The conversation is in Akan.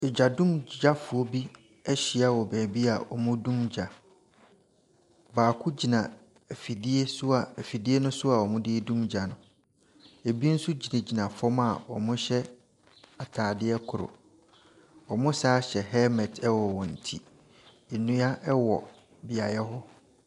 Egya…dumgyafoɔ bi ahyia wɔ baabi a wɔredum gya. Baako gyina afidie so a afidie no so a wɔderedum gya no. Ɛbi nso gyinagyina fam a wɔhyɛ atadeɛ koro. Wɔsane hyɛ helmet wɔ wɔn akyi. Nnua wɔ beaeɛ hɔ.